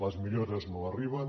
les millores no arriben